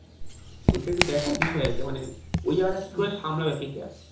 ঐটা একটু দেখার বিষয় ওই জায়গাটা কি করে সামলায় KKR